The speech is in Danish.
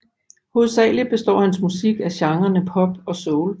Hovedsageligt består hans musik af genrerne soul og pop